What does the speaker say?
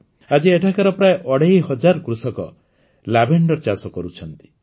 ଆଜି ଏଠାକାର ପ୍ରାୟ ଅଢ଼େଇ ହଜାର କୃଷକ ଲାଭେଣ୍ଡର ଚାଷ କରୁଛନ୍ତି